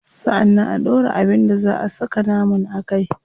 Sannan a dora abin da zaa a saka naman a kai.